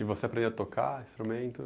E você aprendeu a tocar instrumento?